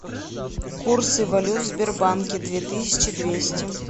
курсы валют в сбербанке две тысячи двести